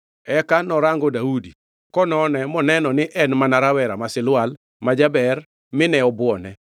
Eka norango Daudi konone moneno ni en mana rawera ma silwal, ma jaber, mine obuone.